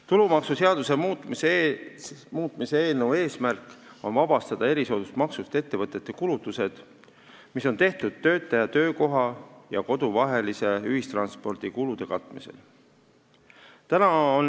Tulumaksuseaduse muutmise eesmärk on vabastada erisoodustusmaksust ettevõtete kulutused, mis on tehtud töötaja töökoha ja kodu vahelisel liikumisel ühistranspordikulude katmiseks.